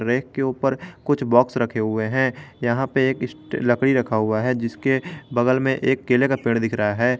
Rack के ऊपर कुछ बॉक्स रखे हुए हैं यहां पे एक लकड़ी रखा हुआ है जिसके बगल में एक केले का पेड़ दिख रहा है।